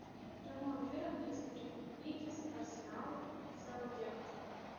прямой эфир английской премьер лиги арсенал саутгемптон